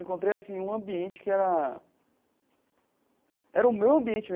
Encontrei assim um ambiente que era era o meu ambiente.